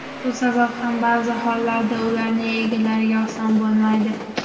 Shu sabab ham ba’zi hollarda ularning egalariga oson bo‘lmaydi.